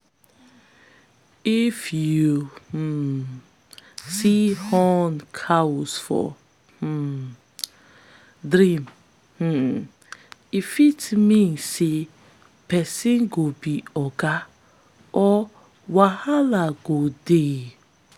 if you um see horned cows for um dream um e fit mean say person go be oga or wahala go dey.